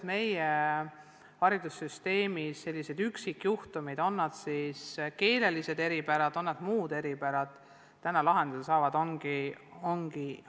Meie haridussüsteemis on mitmesuguseid üksikjuhtumeid, on siis tegu keelelise või mõne muu eripäraga, aga need saavad lahenduse.